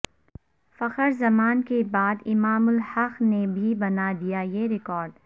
فخرزمان کے بعد امام الحق نے بھی بنا دیا یہ ریکارڈ